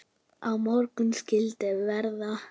Á morgun skyldi það vera.